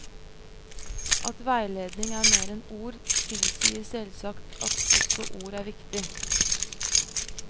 At veiledning er mer enn ord, tilsier selvsagt at også ord er viktig.